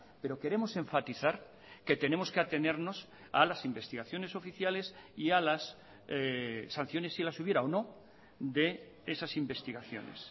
pero queremos enfatizar que tenemos que atenernos a las investigaciones oficiales y a las sanciones si las hubiera o no de esas investigaciones